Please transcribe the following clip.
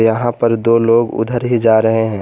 यहां पर दो लोग उधर ही जा रहे हैं।